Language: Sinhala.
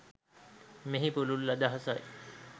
මෙහි පුළුල් අදහසයි.